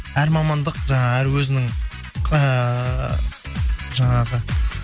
әр мамандық жаңағы әр өзінің ыыы жаңағы